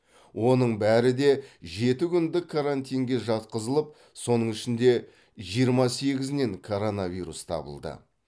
оның бәрі де жеті күндік карантинге жатқызылып соның ішінде жиырма сегізінен коронавирус табылды